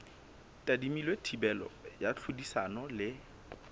tadimilwe thibelo ya tlhodisano le